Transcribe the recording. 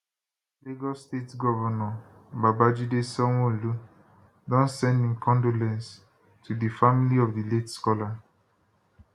lagos state govnor babajide sanwoolu don send im condolences to di family of di late scholar